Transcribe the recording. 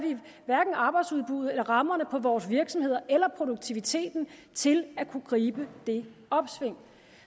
hverken arbejdsudbuddet eller rammerne for vores virksomheder eller produktiviteten til at kunne gribe det opsving